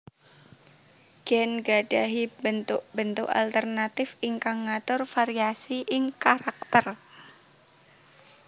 Gèn gadahi béntuk béntuk alternatif ingkang ngatur variasi ing karakter